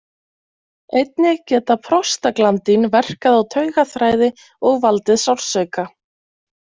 Einnig geta prostaglandín verkað á taugaþræði og valdið sársauka.